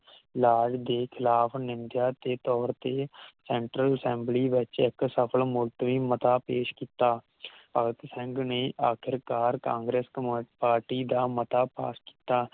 Lord ਦੇ ਖਿਲਾਫ ਨਿੰਜਾ ਦੇ ਤੋਰ ਤੇ Central Assembly ਵਿਚ ਇਕ ਸਫਲ ਮੂਲਤਵੀ ਮਤਾਂ ਪੇਸ਼ ਕੀਤਾ ਭਗਤ ਸਿੰਘ ਨੇ ਅਖੀਰ ਕਾਰ ਕਾਂਗਰੇਸ ਕਮਲ ਪਾਰਟੀ ਦਾ ਮਤਾਂ ਭੰਗ ਕੀਤਾ